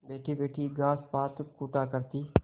बैठीबैठी घास पात कूटा करती